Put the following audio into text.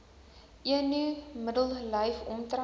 eno middellyf omtrek